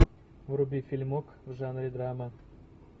вруби фильмок в жанре драма